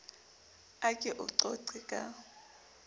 a ke o qoqe ka